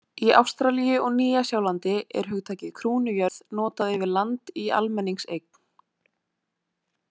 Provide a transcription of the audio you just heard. Í Ástralíu og Nýja Sjálandi er hugtakið krúnujörð notað yfir land í almenningseign.